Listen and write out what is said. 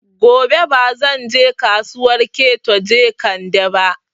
Gobe ba zan je Kasuwar Keto Jekande ba